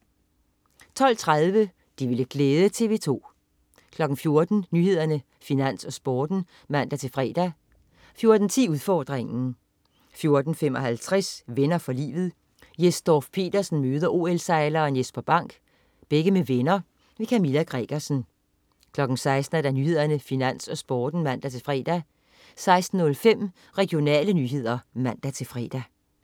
12.30 Det ville glæde TV 2 14.00 Nyhederne, Finans, Sporten (man-fre) 14.10 Udfordringen 14.55 Venner for livet. Jes Dorph-Petersen møder OL-sejleren Jesper Bank. Begge med venner. Kamilla Gregersen 16.00 Nyhederne, Finans, Sporten (man-fre) 16.05 Regionale nyheder (man-fre)